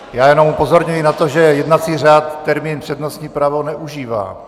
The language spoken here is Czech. Já jenom upozorňuji na to, že jednací řád termín přednostní právo neužívá.